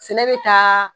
Sɛnɛ bɛ taa